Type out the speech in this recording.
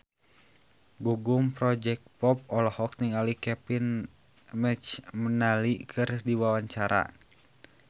Gugum Project Pop olohok ningali Kevin McNally keur diwawancara